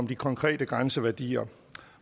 de konkrete grænseværdier